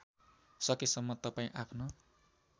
सकेसम्म तपाईँ आफ्नो